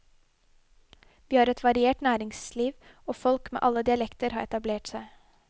Vi har et variert næringsliv, og folk med alle dialekter har etablert seg.